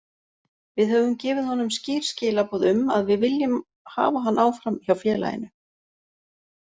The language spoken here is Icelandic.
Við höfum gefið honum skýr skilaboð um að við viljum hafa hann áfram hjá félaginu.